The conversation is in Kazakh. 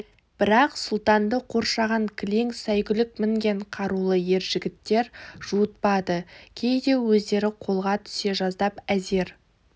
бірақ сұлтанды қоршаған кілең сайгүлік мінген қарулы ер жігіттер жуытпады кейде өздері қолға түсе жаздап әзер